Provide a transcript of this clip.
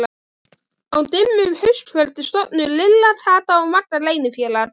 Á dimmu haustkvöldi stofnuðu Lilla, Kata og Magga leynifélag.